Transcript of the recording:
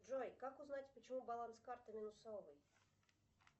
джой как узнать почему баланс карты минусовый